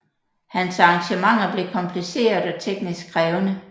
Hans arrangementer blev kompliceret og teknisk krævende